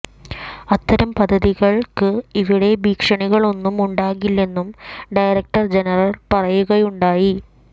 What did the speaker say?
അത്തരം പദ്ധതികൾക്ക് ഇവിടെ ഭീഷണികളൊന്നും ഉണ്ടാകില്ലെന്നും ഡയറക്ടർ ജനറൽ പറയുകയുണ്ടായി